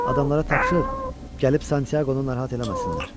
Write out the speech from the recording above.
Adamlara tapşır, gəlib Santyaqonu narahat eləməsinlər.